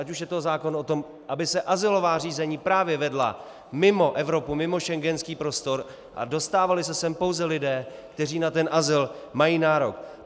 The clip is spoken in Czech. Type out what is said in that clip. Ať už je to zákon o tom, aby se azylová řízení právě vedla mimo Evropu, mimo schengenský prostor a dostávali se sem pouze lidé, kteří na ten azyl mají nárok.